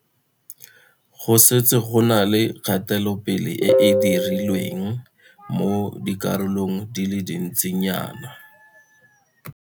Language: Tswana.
Go setse go na le kgatelopele e e dirilweng mo dikarolong di le dintsinyana.